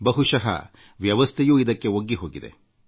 ಬಹುಶಃ ವ್ಯವಸ್ಥೆಯೂ ಇಂಥ ಸಮಸ್ಯೆಗಳೊಂದಿಗೆ ಒಗ್ಗಿಕೊಳ್ಳುತ್ತದೆ